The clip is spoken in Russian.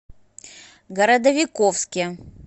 городовиковске